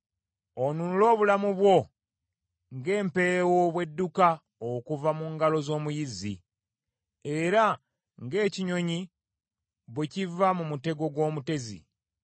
Onunule obulamu bwo ng’empeewo bw’edduka okuva mu ngalo z’omuyizzi, era ng’ekinyonyi, bwe kiva mu mutego gw’omutezi.